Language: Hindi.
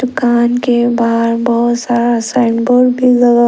दुकान के बाहर बहुत सारा साइन बोर्ड भी लगा--